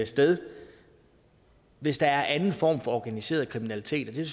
sted hvis der er anden form for organiseret kriminalitet det